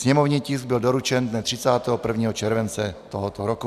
Sněmovní tisk byl doručen dne 31. července tohoto roku.